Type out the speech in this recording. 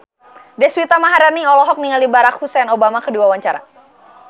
Deswita Maharani olohok ningali Barack Hussein Obama keur diwawancara